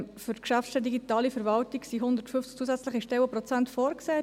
Für die Geschäftsstelle Digitale Verwaltung sind 150 zusätzliche Stellenprozente vorgesehen;